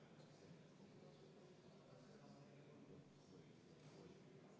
Poolt 51, vastuolijaid ja erapooletuid ei ole.